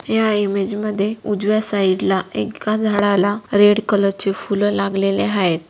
या इमेज मध्ये उजव्या साइड ला एका झाडाला रेड कलर चे फुलं लागलेले आहेत.